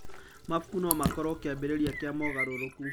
Mabuku no makorwo kĩambĩrĩria kĩa mogarũrũku.